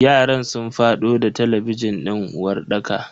yaran sun fado da talabijin din uwarɗakar.